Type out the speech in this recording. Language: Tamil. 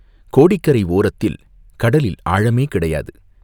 கோடிக்கரை ஓரத்தில் கடலில் ஆழமே கிடையாது.